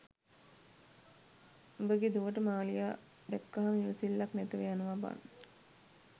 උඹ ගේ දුවට මාලියා දැක්කාම ඉවසිල්ලක් නැතිව යනවා බන්